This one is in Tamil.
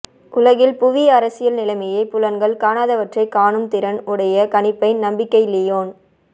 உலகில் புவி அரசியல் நிலைமையை புலன்கள் காணாதவற்றைக் காணும் திறன் உடைய கணிப்பை நம்பிக்கை லியோன்